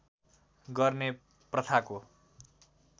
गर्ने प्रथाको